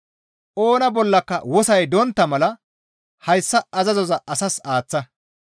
Oona bollaka wosoy dontta mala hayssa azazoza asas aaththa.